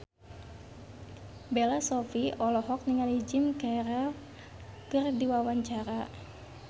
Bella Shofie olohok ningali Jim Carey keur diwawancara